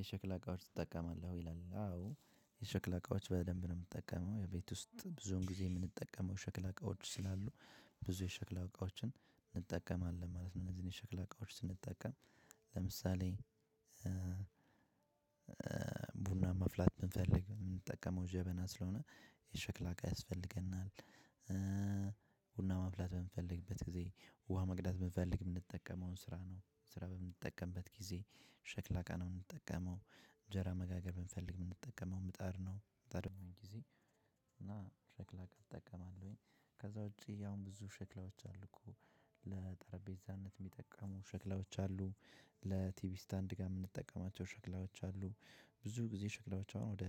የሸክላ እቃዎች ትጠቀማለህ? ይላል፤ አዎ፣ የሸክላ እቃዎች በደንብ ነው የምንጠቀመው። የቤት ውስጥ ብዙ ጊዜ የምንጠቀመው የሸክላ እቃዎች ስላሉ። ብዙ የሸክላ እቃዎችን እንጠቀማለን ማለት ነው፤ እነዚህን የሸክላ እቃዎች ስንጠቀም ለምሳሌ ቡና መፍላት ብንፈልግ የምንጠቀመው ጀበና ስለሆነ፣ የሸክላ እቃ ያስፈልገናል። ቡና ማፍላት በምንፈልግበት ጊዜ፣ ውሃ መቅዳት ብንፈልግ የምንጠቀመው እንስራን ነው፤ እንስራ በምንጠቀምበት ጊዜ የሸክላ እቃ ነው የምንጠቀመው። እንጀራ መጋገር ብንፈልግ የምንጠቀመው ምጣድ ነው፤ ምጣድ የሆነውን ጊዜ እና ሸክላ እጠቀማለሁኝ፤ ከዛ ውጪ ያው ብዙ ሸክላዎች አሉ እኮ! ለጠረጴዛነት የሚጠቀሙ ሸክላዎች አሉ፤ ለቲቪ ስታንድ ጋር የምንጠቀማቸው ሸክላዎች አሉ። ብዙ ጊዜ ሸክላዎች አሁን ወደ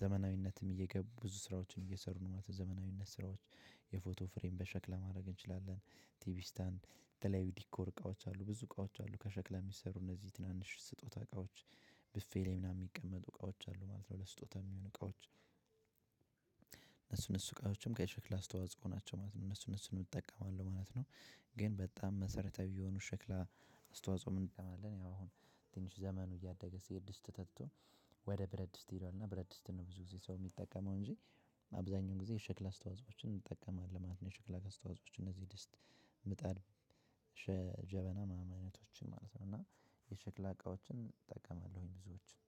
ዘመናዊነትም እየገቡ ብዙ ስራዎችን እየሰሩ ነው፤ ማለት ዘመናዊነት ስራዎች የፎቶ ፍሬም በሸክላ ማድረግ እንችላለን፣ ቲቪ ስታንድ፣ የተለያዩ ዲኮር እቃዎች አሉ ብዙ እቃዎች አሉ ከሸክላ የሚሰሩ፣ እነዚህ ትናንሽ የስጦታ እቃዎች። ብፌ ላይ ምናምን የሚቀመጡ እቃዎች አሉ ማለት ነው፤ ለስጦታ የሚሆኑ እቃዎች እነሱም እነሱ እቃዎች ከሸክላ አስተዋፅኦ ናቸው ማለት ነው። እነሱን፣ እነሱን እጠቀማለሁ ማለት ነው። ግን በጣም መሰረታዊ የሆኑ የሸክላ አስተዋፅኦዎች፣ ምን እን ያው አሁን ትንሽ ዘመኑ እያደገ ሲሄድ ተትቶ ወደ ብረድስት ሄዷል፤ እና ብረድስት ነው ብዙ ጊዜ ሰው የሚጠቀመው እንጂ አብዛኛውን ጊዜ የሸክላ አስተዋፅኦዎችን እንጠቀማለን ማለት ነው። የሸክላ አስተዋፅኦዎች እነዚህ ድስት፣ ምጣድ፣ ጀበና ምናምን አይነቶችን ማለት ነው፤ እና የሸክላ እቃዎችን እጠቀማለሁኝ ብዙዎቹን።